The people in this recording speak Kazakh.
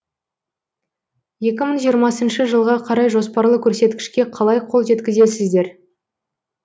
екі мың жиырмасыншы жылға қарай жоспарлы көрсеткішке қалай қол жеткізесіздер